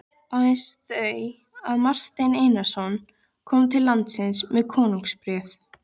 Aðeins þau að Marteinn Einarsson kom til landsins með konungsbréf.